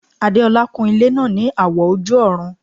Adeola kun ilẹ́ náà ní àwọ̀ ojú-ọ̀run